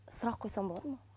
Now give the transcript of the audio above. сұрақ қойсам болады ма